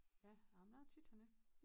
Ja nåh men jeg er tit hernede